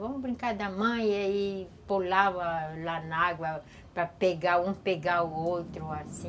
Vamos brincar da mãe, aí pulava lá na água para pegar um, pegar o outro, assim.